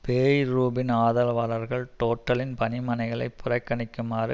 பேய்ரூவின் ஆதரவாளர்கள் டோட்டலின் பணி மனைகளை புறக்கணிக்குமாறு